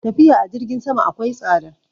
Tafiya a jirgin sama akwai tsada